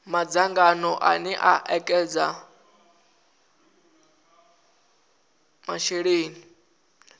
madzangano ane a ekedza masheleni